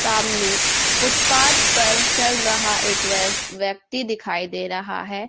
सामने फुटपाथ पर चल रहा एक व्यक्ति दिखाई दे रहा है।